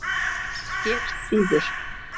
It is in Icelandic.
Það gerðist síðar.